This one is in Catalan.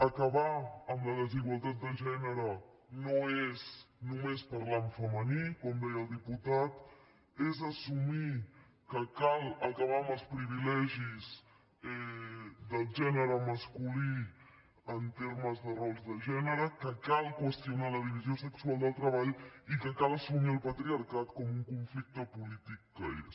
acabar amb la desigualtat de gènere no és només parlar en femení com deia el diputat és assumir que cal acabar amb els privilegis del gènere masculí en termes de rols de gènere que cal qüestionar la divisió sexual del treball i que cal assumir el patriarcat com un conflicte polític que és